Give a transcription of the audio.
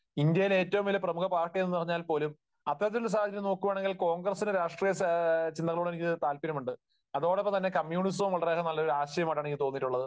ഇന്ത്യയിലെ ഏറ്റവും വലിയ പ്രമുഖ പാർട്ടി എന്ന് പറഞ്ഞാൽ പോലും അത്തരത്തിലുള്ള ഒരു സാഹചര്യം നോക്കുകയാണെങ്കിൽ കോൺഗ്രസിന്റെ രാഷ്രീയ സാ, ചിന്തകളോട് എനിക്ക് താല്പര്യമുണ്ട്. അതോടൊപ്പം കമ്മ്യൂണിസവും വളരെയേറെ നല്ല ഒരു ആശയമായിട്ടാണ് എനിക്ക് തോന്നിയിട്ടുള്ളത്.